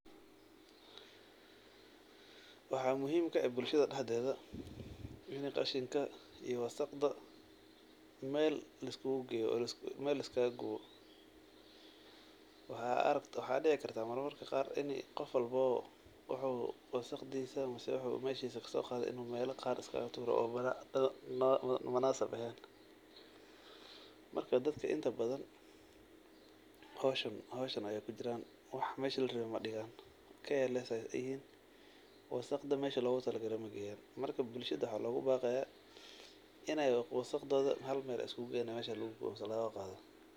Waxaa muhiim ka ah bulshada dhaxdeeda ini qashinka iyo wasaqda Mel liskugu geyo, Mel liskaga gubo, waxa dhici karka marmarka qaar ini qof walbobo wuxuu wasaqdiisa ama wuxuu kasoo qaado inu mela qaar iska tuuro oo munasab eheen, marka dadka inta badan howshan ayay kujiran, wax mesha la rabe madhigaan careless ayay iska yihiin, wasaqda meshii logu talagale mageeyan, marka bulshad waxaa logu baqaya inay wasaqdoda hal Mel iskugu geyan oo meshas lugu gubo si loga bahdo